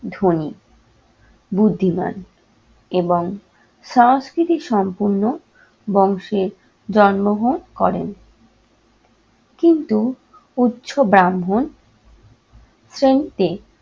ধনী, বুদ্ধিমান এবং সাংস্কৃতিক সম্পন্ন বংশে জন্মগ্রহণ করেন। কিন্তু উচ্চ ব্রাহ্মণ শ্রেণীতে